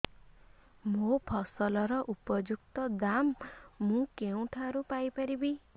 ମୋ ଫସଲର ଉପଯୁକ୍ତ ଦାମ୍ ମୁଁ କେଉଁଠାରୁ ପାଇ ପାରିବି